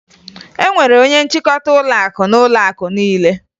E nwere onye nchịkọta ụlọakụ n'ụlọakụ niile